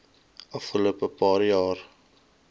afgelope paar jaar